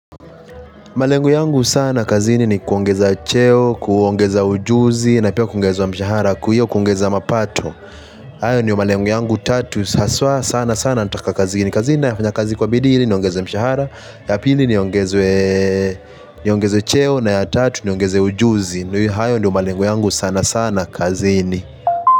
Malengo yangu sana kazini ni kuongeza cheo, kuongeza ujuzi na pia kuongezwa mshahara, hio kuongeza mapato. Hayo ndio malengo yangu tatu haswa sana sana nataka kazini. Kazi ninafanya kazi kwa bidii ili niongezwe mshahara. Ya pili niongezwe, niongezwe cheo na ya tatu niongeze ujuzi. Hayo ndo malengo yangu sana sana kazini.